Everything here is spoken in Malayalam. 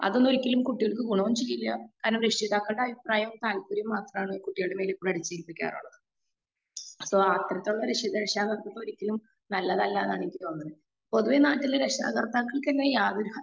അതൊന്നും ഒരിക്കലും കുട്ടികൾക്ക് ഗുണവും ചെയ്യില്ല കാരണം രക്ഷിതാക്കളുടെ അഭിപ്രായം മാത്രമാണ് കുട്ടികളുടെ മേലിൽ എപ്പഴും അടിച്ചു ഏൽപ്പിക്കാറുള്ളത്. സോ അത്തരത്തിലുള്ള രക്ഷാ കർത്തിത്വം ഒരിക്കലും അത്ര നല്ലതല്ല എന്നാണ് എനിക്ക് തോന്നുന്നത്. പൊതുവെ നാട്ടിൽ രക്ഷാ കർത്താക്കൾക്ക് എതിരെ യാതൊരു